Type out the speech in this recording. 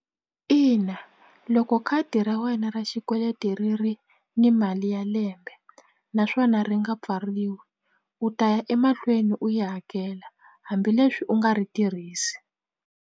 Ina loko khadi ra wena ra xikweleti ri ri ni mali ya lembe naswona ri nga pfariwi u ta ya emahlweni u yi hakela hambileswi u nga ri tirhisi.